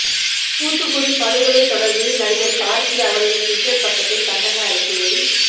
தூத்துக்குடி படுகொலை தொடர்பில் நடிகர் கார்த்தி அவரது டுவிட்டர் பக்கத்தில் கண்டன அறிக்கையை